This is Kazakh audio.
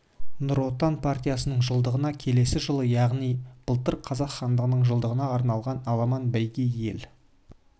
нұр отан партиясының жылдығына келесі жылы яғни былтыр қазақ хандығының жылдығына арналған аламан бәйге ел